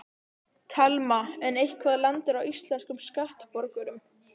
Telma: En eitthvað lendir á íslenskum skattborgurum?